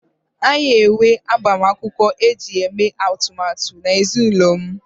anyị na-enwe agbamakwụkwọ iji mee atụmatụ na ezinụlọ m